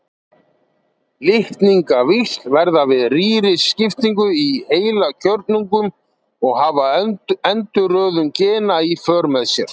Litningavíxl verða við rýriskiptingu í heilkjörnungum og hafa endurröðun gena í för með sér.